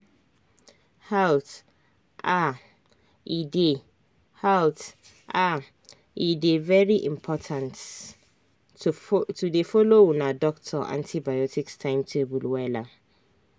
halt ahe dey halt ahe dey very important to dey follow una doctor antibiotics timetable wella.